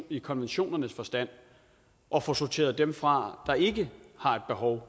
i konventionernes forstand og få sorteret dem fra der ikke har et behov